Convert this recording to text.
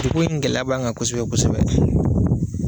Degun ni gɛlɛya b'an kan kosɛbɛ kosɛbɛ.